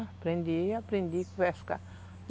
Aprendi, aprendi a pescar.